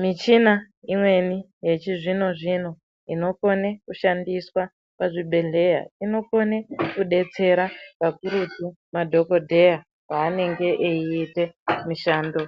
Michina imweni yechizvino zvino inokone kushandiswa muzvibhedhlera inokone kudetsera pakurutu madhokodheya paanenge eiite mishando